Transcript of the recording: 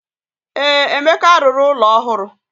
Ee, Emeka rụrụ ụlọ ọhụrụ.